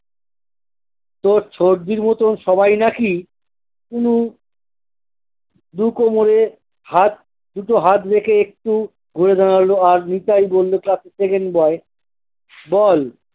তোর সর্দির মতো সবাই নাকি দু দু কোমরে হাত দুটো হাত রেখে একটু ঘুরে দাঁড়ালো আর নিতাই বললো class এর second boy বল